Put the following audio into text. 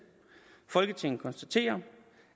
folketinget konstaterer